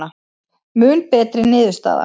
Mun betri niðurstaða